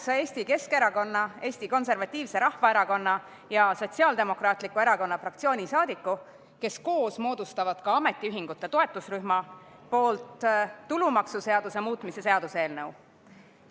Esitan Eesti Keskerakonna, Eesti Konservatiivse Rahvaerakonna ja Sotsiaaldemokraatliku Erakonna fraktsiooni üheksa liikme nimel, kes koos moodustavad ka ametiühingute toetusrühma, tulumaksuseaduse muutmise seaduse eelnõu.